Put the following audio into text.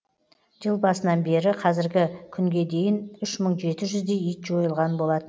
жыл басынан бері қазіргі күнге дейін үш мың жеті жүздей ит жойылған болатын